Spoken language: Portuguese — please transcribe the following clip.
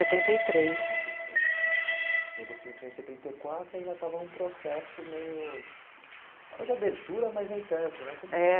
setenta e três. E você entrou em setenta e quatro e ainda estava em um processo meio... estava de abertura, mas nem tanto, né?